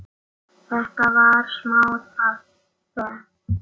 Þetta var smá peð!